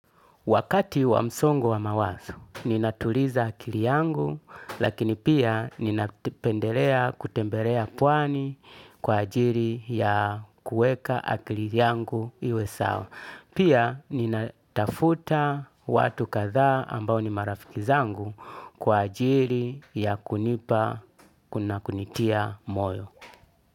Wakati wa msongo wa mawazo, ninatuliza akili yangu, lakini pia ninapendelea kutembelea pwani kwa ajili ya kueka akili yangu iwe sawa. Pia ninatafuta watu kadhaa ambao ni marafiki zangu kwa ajili ya kunipa na kunitia moyo.